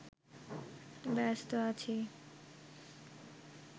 ব্যস্ত আছি